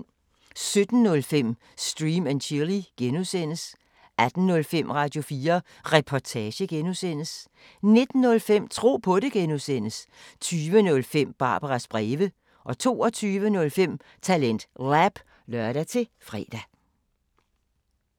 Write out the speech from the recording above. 17:05: Stream & Chill (G) 18:05: Radio4 Reportage (G) 19:05: Tro på det (G) 20:05: Barbaras breve 22:05: TalentLab (lør-fre)